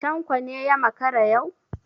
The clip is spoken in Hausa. Tanko ne ya makara yau?